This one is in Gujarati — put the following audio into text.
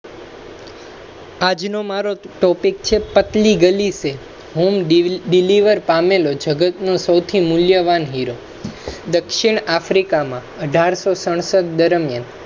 આજ નો topic છે પતલી ગલી સે home delivery પામેલો જગતનો સૌથી મૂલ્ય વાન દક્ષિણ africa માં અઢાર સાઠ સાત દરમિયાન